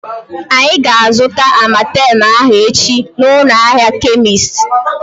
Anyị ga-azuta Amartem ahu echi na ụlọ ahịa kemist